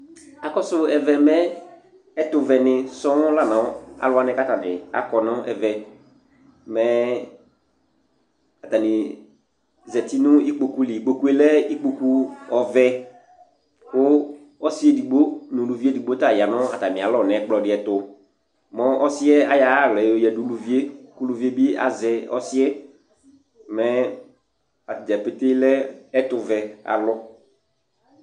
Akɔsʋ ɛvɛ mɛ, ɛtʋvɛnɩ sɔŋ la nʋ alʋ wanɩ kʋ atanɩ akɔ nʋ ɛvɛ, mɛ atanɩ zati nʋ ikpoku li Ikpoku lɛ ikpoku ɔvɛ kʋ ɔsɩ edigbo nʋ uluvi edigbo ta ya nʋ atamɩalɔ nʋ ɛkplɔ dɩ ɛtʋ, mʋ ɔsɩ yɛ ayɔ ayʋ aɣla yɛ yɔyǝdu uluvi yɛ kʋ uluvi yɛ bɩ azɛ ɔsɩ yɛ, mɛ ata dza pete lɛ ɛtʋvɛ alʋ